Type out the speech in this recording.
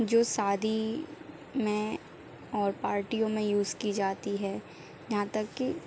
जो सादी में और पार्टियों में यूज़ की जाती है। यहाँ तक कि --